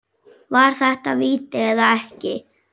Var þetta víti eða ekki?